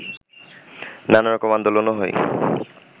নানারকম আন্দোলনও হয়